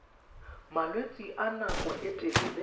malwetse a nako e telele